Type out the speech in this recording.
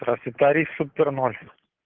проси тариф супер ноль